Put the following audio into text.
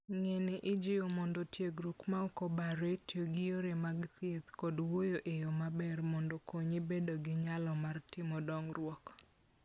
Ng'ene ijiwo mondo tiegruok ma ok obare, tiyo gi yore mag thieth, kod wuoyo e yo maber mondo okonyi bedo gi nyalo mar timo dongruok.